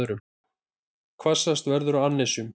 Hvassast verður á annesjum